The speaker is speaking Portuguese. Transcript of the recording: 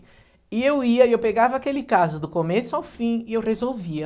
E eu ia e eu pegava aquele caso do começo ao fim e eu resolvia.